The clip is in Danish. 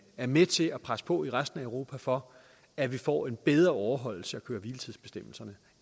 er med til at presse på i resten af europa for at vi får en bedre overholdelse af køre hvile tids bestemmelserne